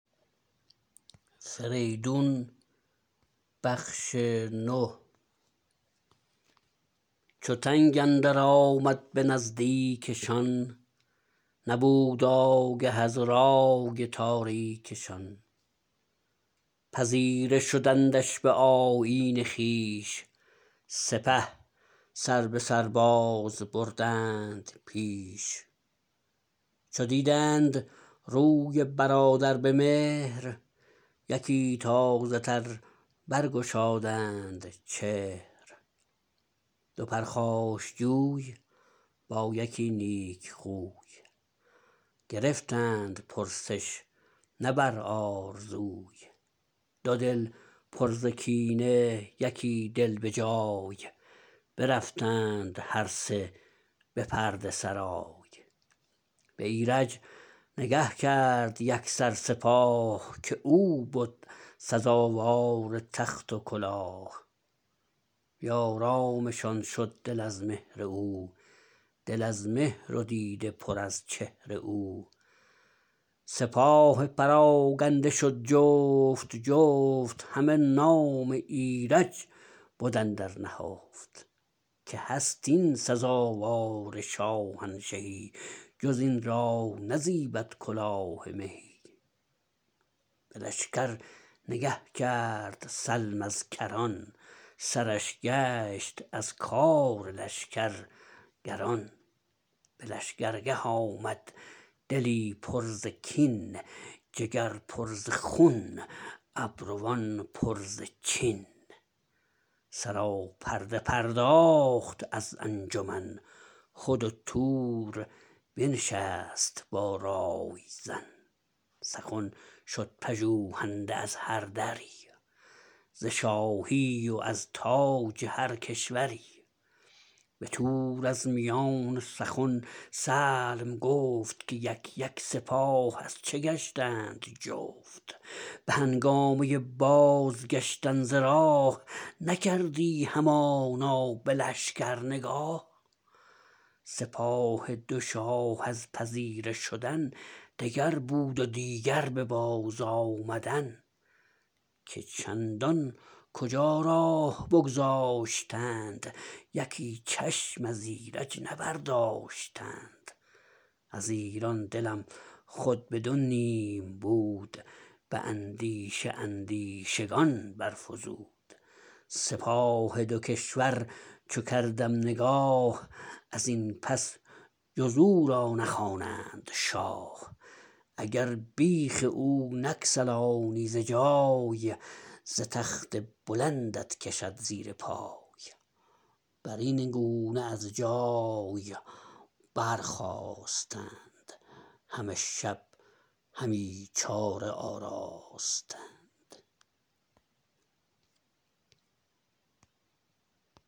چو تنگ اندر آمد به نزدیکشان نبود آگه از رای تاریکشان پذیره شدندش به آیین خویش سپه سربسر باز بردند پیش چو دیدند روی برادر به مهر یکی تازه تر برگشادند چهر دو پرخاشجوی با یکی نیک خوی گرفتند پرسش نه بر آرزوی دو دل پر ز کینه یکی دل به جای برفتند هر سه به پرده سرای به ایرج نگه کرد یکسر سپاه که او بد سزاوار تخت و کلاه بی آرامشان شد دل از مهر او دل از مهر و دیده پر از چهر او سپاه پراگنده شد جفت جفت همه نام ایرج بد اندر نهفت که هست این سزاوار شاهنشهی جز این را نزیبد کلاه مهی به لشکر نگه کرد سلم از کران سرش گشت از کار لشکر گران به لشگرگه آمد دلی پر ز کین جگر پر ز خون ابروان پر ز چین سراپرده پرداخت از انجمن خود و تور بنشست با رای زن سخن شد پژوهنده از هردری ز شاهی و از تاج هر کشوری به تور از میان سخن سلم گفت که یک یک سپاه از چه گشتند جفت به هنگامه بازگشتن ز راه نکردی همانا به لشکر نگاه سپاه دو شاه از پذیره شدن دگر بود و دیگر به بازآمدن که چندان کجا راه بگذاشتند یکی چشم از ایرج نه برداشتند از ایران دلم خود به دو نیم بود به اندیشه اندیشگان برفزود سپاه دو کشور چو کردم نگاه از این پس جز او را نخوانند شاه اگر بیخ او نگسلانی ز جای ز تخت بلندت کشد زیر پای برین گونه از جای برخاستند همه شب همی چاره آراستند